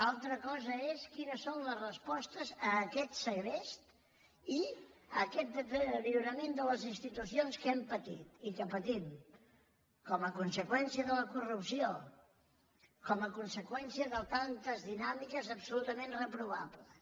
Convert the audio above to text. altra cosa és quines són les respostes a aquest segrest i a aquest deteriorament de les institucions que hem patit i que patim com a conseqüència de la corrupció com a conseqüència de tantes dinàmiques absolutament reprovables